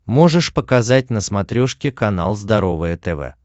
можешь показать на смотрешке канал здоровое тв